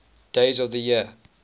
days of the year